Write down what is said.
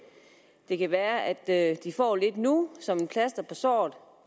det kan være at de får lidt nu som et plaster på såret